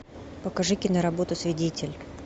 покажи киноработу свидетель